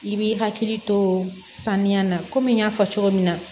I b'i hakili to saniya na komi n y'a fɔ cogo min na